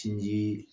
Sinji